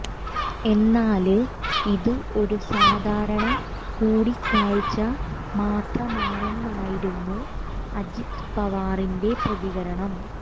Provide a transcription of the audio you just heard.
എന്നാല് ഇത് ഒരു സാധാരണ കൂടിക്കാഴ്ച മാത്രമാണെന്നായിരുന്നു അജിത് പവാറിന്റെ പ്രതികരണം